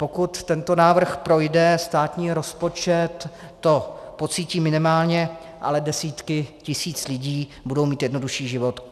Pokud tento návrh projde, státní rozpočet to pocítí minimálně, ale desítky tisíc lidí budou mít jednodušší život.